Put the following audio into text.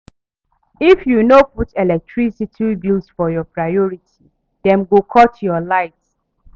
If you no put electricity bills for your priority, dem go cut your light.